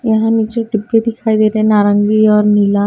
यहां नीचे डिब्बे दिखाई दे रहे हैं नारंगी और नीला--